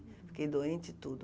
Fiquei doente e tudo.